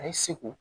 A ye segu